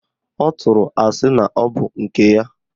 Ọ tụrụ asị na ọbụ nke ya